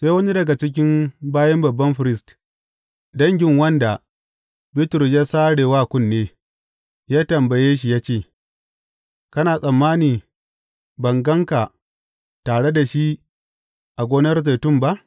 Sai wani daga cikin bayin babban firist dangin wanda Bitrus ya sare wa kunne, ya tambaya shi ya ce, Kana tsammani ban gan ka tare da shi a gonar zaitun ba?